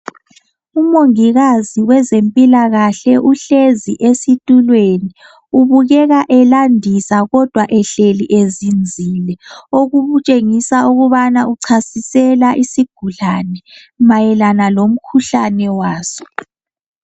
Umongikazi wezempilakahle uhlezi esitulweni. Ubukeka elandisa kodwa ehleli ezinzile okutshengisa ukubana uchasisela isigulane mayelana lomkhuhlane waso.